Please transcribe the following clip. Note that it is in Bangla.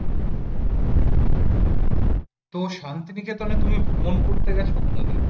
তো শান্তিনিকেতনে তুমি ভ্রমণ করতে গেছো কোনদিন?